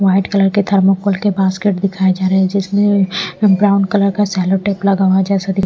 white colour के thermocol के basket दिखाए जा रहे हैं जिसमें ब्राउन कलर का सेलो टेप लगा हुआ है जैसे --